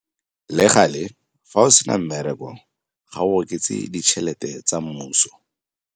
Le gale, fa o se na mmereko, ga o oketse ditšhelete tsa mmuso.